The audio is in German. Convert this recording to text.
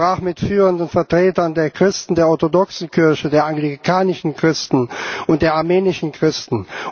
Ich sprach mit führenden Vertretern der Christen, der orthodoxen Kirche, der anglikanischen Christen und der armenischen Christen.